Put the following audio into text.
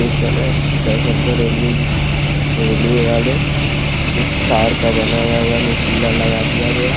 इस समय स्टेशन पर रेलवे भी रेलवे वाले कुछ तार का बनाया हुआ निकला लगा दिया गया--